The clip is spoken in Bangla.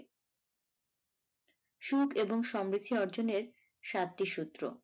সুখ এবং সমৃদ্ধি অর্জনের সাতটি সূত্র